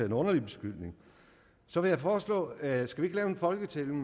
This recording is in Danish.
en underlig beskyldning så vil jeg foreslå at vi laver en folketælling